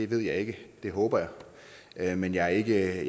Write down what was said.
ved jeg ikke det håber jeg men jeg er